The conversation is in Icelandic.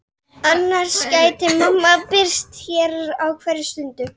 Emil seig lengra og lengra niðrí sætið.